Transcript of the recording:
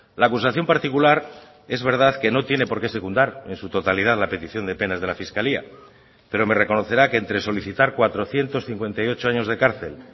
la acusación particular es verdad que no tiene porqué secundar en su totalidad la petición de penas de la fiscalía pero me reconocerá que entre solicitar cuatrocientos cincuenta y ocho años de cárcel